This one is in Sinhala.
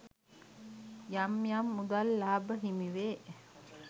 යම් යම් මුදල් ලාභ හිමිවේ.